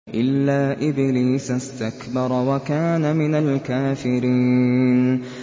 إِلَّا إِبْلِيسَ اسْتَكْبَرَ وَكَانَ مِنَ الْكَافِرِينَ